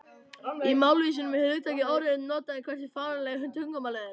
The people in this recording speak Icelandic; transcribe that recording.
Í málvísindum er hugtakið óreiða notað um það hversu fyrirsjáanlegt tungumálið er.